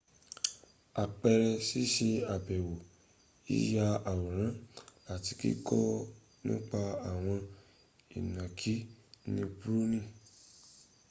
àpẹẹrẹ síṣe àbèwọ yíya awòrán àti kíkọ́ nípa àwọn ìnànkí ní borneo